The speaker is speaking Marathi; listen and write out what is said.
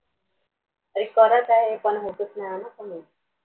अग करत आहे पण होतंच नाही कमी हम्म